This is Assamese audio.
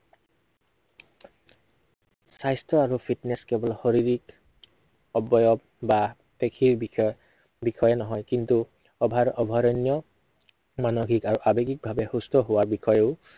স্বাস্থ্য় আৰু fitness কেৱল শৰীৰিক অৱয়ব বা পেশীৰ বিষয়ে, বিষয়ে নহয়। কিন্তু over অভাৰণ্য় মানসিক আৰু আৱেগিক ভাৱে সুস্থ হোৱাৰ বিষয়েও